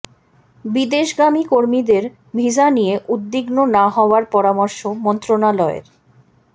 বিদেশগামী কর্মীদের ভিসা নিয়ে উদ্বিগ্ন না হওয়ার পরামর্শ মন্ত্রণালয়ের